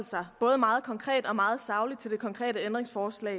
sig både meget konkret og meget sagligt til det konkrete ændringsforslag